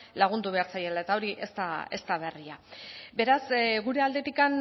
lagundu behar zaiela eta hori ez da berria beraz gure aldetik